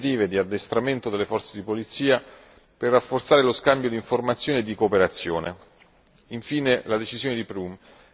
Ma tutto questo va anche aggiunto a una serie di iniziative di addestramento delle forze di polizia per rafforzare lo scambio di informazioni e di cooperazione.